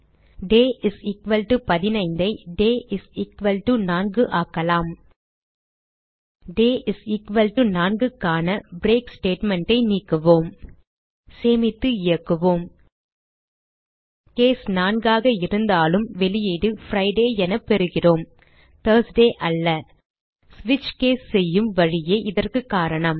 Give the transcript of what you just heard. டே 15 ஐ டே 4 ஆக்கலாம் டே 4 க்கான பிரேக் statement ஐ நீக்குவோம் சேமித்து இயக்குவோம் கேஸ் 4 ஆக இருந்தாலும் வெளியீடு பிரிடே என பெறுகிறோம் தர்ஸ்டே அல்ல ஸ்விட்ச் கேஸ் செய்யும் வழியே இதற்கு காரணம்